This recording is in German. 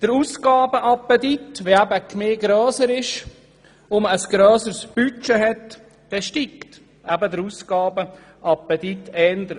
Wenn sich eine Gemeinde ausdehnt und ein grösseres Budget hat, dann steigt der Ausgabenappetit eher an.